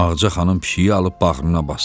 Ağca xanım pişiyi alıb bağrına basdı.